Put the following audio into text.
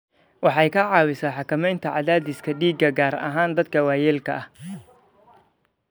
Waxay ka caawisaa xakamaynta cadaadiska dhiigga, gaar ahaan dadka waayeelka ah.